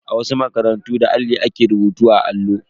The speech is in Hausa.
A wasu makarantu, da alli ake rubutu akan allo.